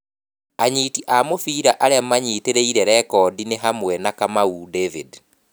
Anyiti a mũbira aria manyitĩrĩire rekondi nĩ hamwe na Kamau David.